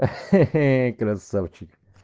ха-ха красавчик